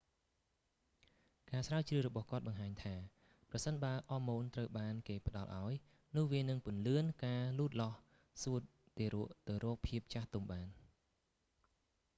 ការស្រាវជ្រាវរបស់គាត់បង្ហាញថា ប្រសិនបើអរម៉ូនត្រូវបានគេផ្ដល់ឲ្យ នោះវានឹងពន្លឿនការលូតលាស់សួតទារកទៅរកភាពចាស់ទុំបាន